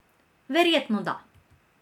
Verjetno da.